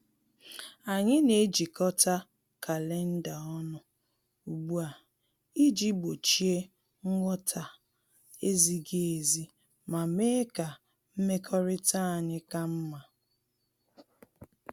Anyị na-ejikota kalenda ọnụ ugbu a iji gbochie nghọta-ezighi ezi ma mee ka mmekọrịta anyị ka mma